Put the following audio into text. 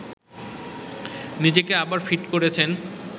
নিজেকে আবার ফিট করেছেন